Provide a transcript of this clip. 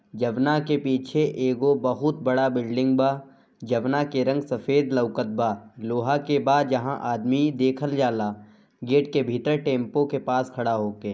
जब ना के पीछे एगो बहुत बड़ा बिल्डिंग बा जब ना के रंग सफ़ेद लौकत बा लोहा के बाद जहाँ आदमी देखल जाला गेट के भीतर टेम्पू के पास खड़ा होके।